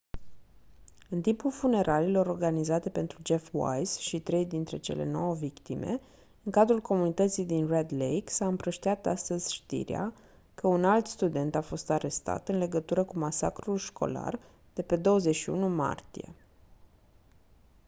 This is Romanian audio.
în timpul funeraliilor organizate pentru jeff wise și trei dintre cele nouă victime în cadrul comunității din red lake s-a împrăștiat astăzi știrea că un alt student a fost arestat în legătură cu masacrul școlar de pe 21 martie